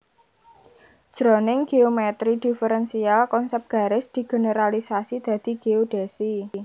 Jroning géomètri diferensial konsèp garis digeneralisasi dadi géodhèsi